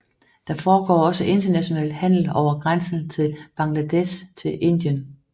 Der foregår også international handel over grænsen fra Bangladesh til Indien